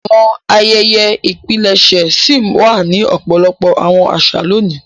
Àwọn àyẹ́yẹ́ ìpilẹṣẹ ṣi wà ni ọpọlọpọ àwọn àṣà loni.